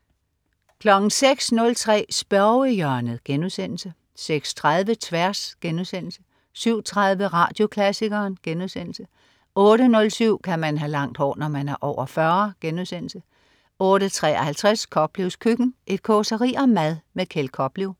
06.03 Spørgehjørnet* 06.30 Tværs* 07.03 Radioklassikeren* 08.07 Kan man have langt hår, når man er over 40?* 08.53 Koplevs køkken. Et causeri om mad. Kjeld Koplev